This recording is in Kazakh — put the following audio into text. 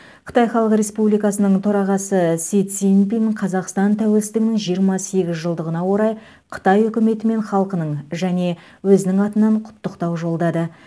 қытай халық республикасының төрағасы си цзиньпин қазақстан тәуелсіздігінің жиырма сегіз жылдығына орай қытай үкіметі мен халқының және жеке өзінің атынан құттықтау жолдады